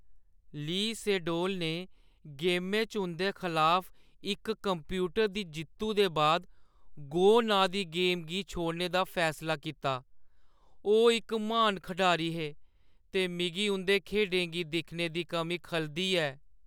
ली सेडोल ने गेमै च उंʼदे खलाफ इक कंप्यूटर दी जित्तु दे बाद "गो" नांऽ दी गेम गी छोड़ने दा फैसला कीता। ओह् इक म्हान खढारी हे ते मिगी उंʼदी खेढें गी दिक्खने दी कमी खलदी ऐ।